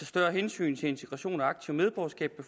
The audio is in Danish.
større hensyn til integration og aktivt medborgerskab